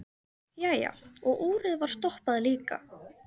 Jæja, og úrið var stoppað líka.